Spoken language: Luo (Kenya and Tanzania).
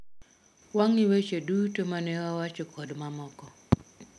Wang'i weche duto mane wawacho kod mamoko?